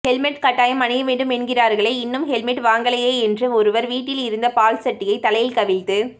helmet கட்டாயம் அணிய வேண்டும் என்கிறார்களே இன்னும் ஹெல்மெட் வாங்கலையே என்று ஒருவர் வீட்டில் இருந்த பால்சட்டியை தலையில் கவிழ்த்து